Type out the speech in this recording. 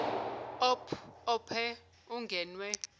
op ope ungenwe